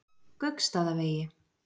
Gauksstaðavegi